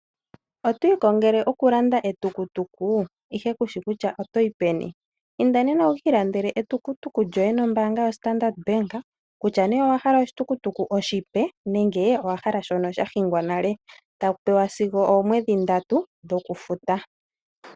Oto ikongele okulanda etukutuku, ihe ku shi kutya oto yi peni? Inda nena wu ka ilandele etukutuku lyoye nombaanga yoStandard Bank. Kutya nee owa hala oshitukutuku oshipe nenge owa hala shono sha hingwa nale. Oto pewa efudho lyoomwedhi ndatu dhokufuta.